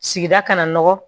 Sigida kana nɔgɔ